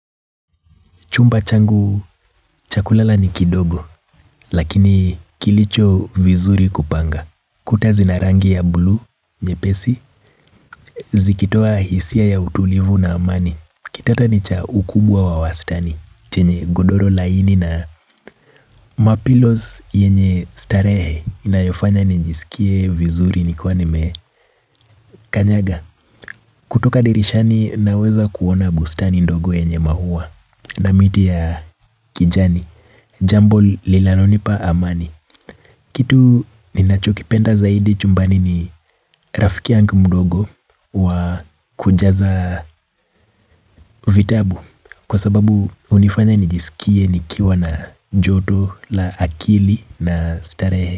Chumba changu, cha kulala ni kidogo, lakini kilicho vizuri kupanga. Kuta zina rangi ya buluu, nyepesi, zikitoa hisia ya utulivu na amani. Kitanda ni cha ukubwa wa wastani, chenye godoro laini na ma pillows yenye starehe. Inayofanya nijisikie vizuri nikiwa nimekanyaga. Kutoka dirishani, naweza kuona bustani ndogo yenye maua na miti ya kijani. Jambo linalonipa amani kitu ninachokipenda zaidi chumbani ni rafiki yangu Mdogo Wa kujaza vitabu kwa sababu hunifanya nijisikie nikiwa na joto la akili na starehe.